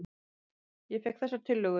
Ég fékk þessar tillögur.